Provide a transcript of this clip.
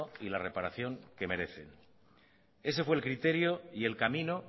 y la reparación que merece ese fue el criterio y el camino